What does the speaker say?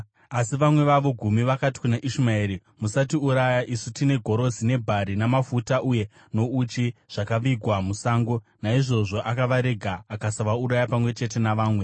Asi vamwe vavo gumi vakati kuna Ishumaeri, “Musatiuraya! Isu tine gorosi nebhari, namafuta uye nouchi, zvakavigwa musango.” Naizvozvo akavarega akasavauraya pamwe chete navamwe.